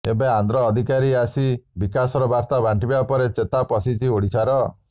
ଏବେ ଆନ୍ଧ୍ର ଅଧିକାରୀ ଆସି ବିକାଶର ବାର୍ତ୍ତା ବାଣ୍ଟିବା ପରେ ଚେତା ପଶିଛି ଓଡ଼ିଶାର